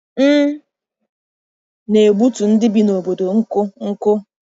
M na-egbutu ndị bi n’obodo nkụ nkụ.